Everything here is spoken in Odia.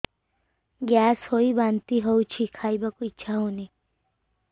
ଗ୍ୟାସ ହୋଇ ବାନ୍ତି ହଉଛି ଖାଇବାକୁ ଇଚ୍ଛା ହଉନି